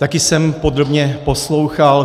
Taky jsem podrobně poslouchal.